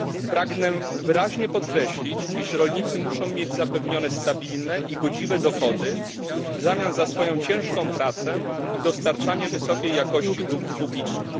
Pragnę wyraźnie podkreślić, że rolnicy muszą mieć zapewnione stabilne i godziwe dochody w zamian za swoją ciężką prace i dostarczanie wysokiej jakości dóbr publicznych.